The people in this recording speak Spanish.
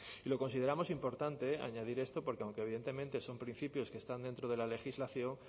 y lo consideramos importante añadir esto porque aunque evidentemente son principios que están dentro de la legislación